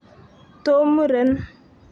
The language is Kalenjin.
to mourn".